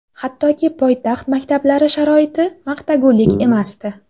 Hattoki poytaxt maktablari sharoiti maqtagulik emasdi.